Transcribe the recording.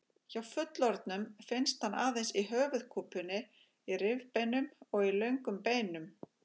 Hjá fullorðnum finnst hann aðeins í höfuðkúpunni, í rifbeinum og í löngum beinum.